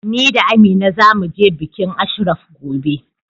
Ni da Amina za mu je bikin Ashraf gobe.